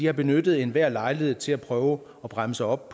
har benyttet enhver lejlighed til at prøve at bremse op